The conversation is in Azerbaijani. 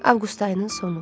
Avqust ayının sonu.